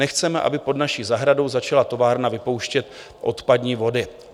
Nechceme, aby pod naší zahradou začala továrna vypouštět odpadní vody."